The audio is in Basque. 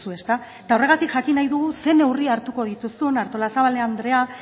zu eta horregatik jakin nahi dugu ze neurri hartuko dituzun artolazbal andrea